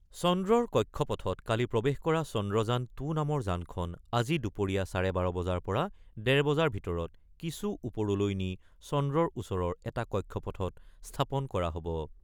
চন্দ্ৰৰ কক্ষপথত কালি প্ৰৱেশ কৰা চন্দ্ৰযান-টু নামৰ যানখন আজি দুপৰীয়া চাৰে বাৰ বজাৰ পৰা ডেৰ বজাৰ ভিতৰত কিছু ওপৰলৈ নি চন্দ্ৰৰ ওচৰৰ এটা কক্ষপথত স্থাপন কৰা হ'ব।